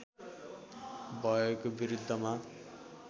भएको विरुद्धमा